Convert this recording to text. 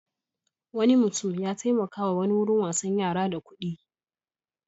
Wani mutum ya taimakawa wani wurin wasan yara da kuɗi.